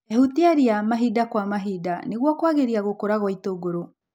Ehutia ria mahinda kwa mahinda nĩguo kwagĩria gũkũra gwa itũngũrũ.